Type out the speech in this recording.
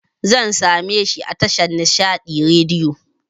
Zan sameshi a tashar Nishaɗi Radiyo